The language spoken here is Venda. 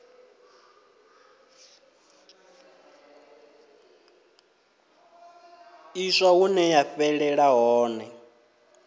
ḽiswa hune ya fhelela hone